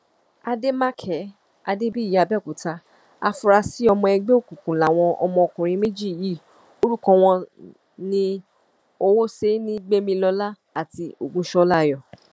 àdèmàkè adébíyì àbẹòkúta afúrásì ọmọ ẹgbẹ òkùnkùn làwọn ọmọkùnrin méjì yìí orúkọ wọn ní owóṣẹni gbẹmilọlá àti ògúnṣọlá ayọ̀